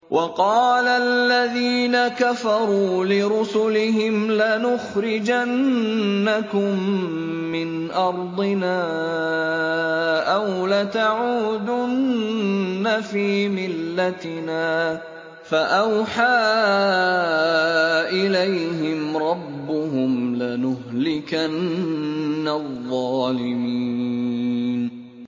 وَقَالَ الَّذِينَ كَفَرُوا لِرُسُلِهِمْ لَنُخْرِجَنَّكُم مِّنْ أَرْضِنَا أَوْ لَتَعُودُنَّ فِي مِلَّتِنَا ۖ فَأَوْحَىٰ إِلَيْهِمْ رَبُّهُمْ لَنُهْلِكَنَّ الظَّالِمِينَ